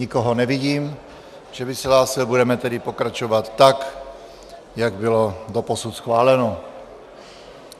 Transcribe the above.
Nikoho nevidím, že by se hlásil, budeme tedy pokračovat, tak jak bylo doposud schváleno.